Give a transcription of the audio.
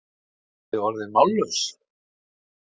Eruð þið orðin mállaus?